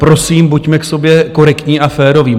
Prosím, buďme k sobě korektní a féroví.